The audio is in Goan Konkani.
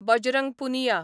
बजरंग पुनिया